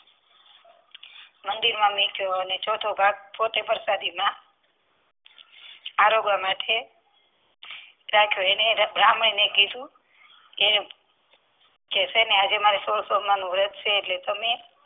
મંદિરમાં મૂક્યો અને ચોથો ભાગ પોતે પ્રસાદીમાં રાખ્યો અને એને બ્રાહ્મણ ને કીધું કે છે કે આજે મારે સો સોમવાર નું વ્રત છે એટલે તમે